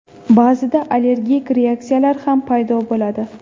Ba’zida allergik reaksiyalar ham paydo bo‘ladi.